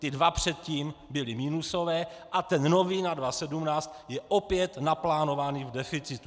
Ty dva předtím byly minusové a ten nový na 2017 je opět naplánovaný v deficitu.